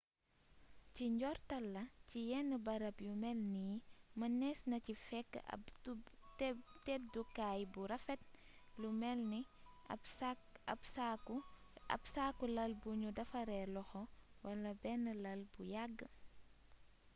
ci njortal la ci yenn barab yu mel nii mënees na ci fekk ab tëddukaay bu rafet lu melni ab saaku lal bu nu defaree loxo wala benn lal bu yàgg